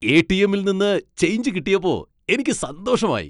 എ.ടി.എമ്മിൽ നിന്ന് ചേഞ്ച് കിട്ടിയപ്പോ എനിക്ക് സന്തോഷമായി.